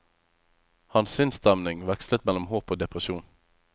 Hans sinnsstemning vekslet mellom håp og depresjon.